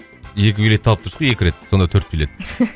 екі билет алып тұрсыз ғой екі рет сонда төрт билет